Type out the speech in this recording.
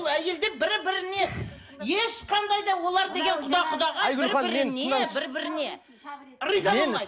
ол әйелдер бір біріне ешқандай да олар деген құда құдағай бір біріне бір біріне риза болмайды